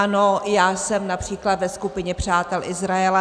Ano, já jsem například ve skupině přátel Izraele.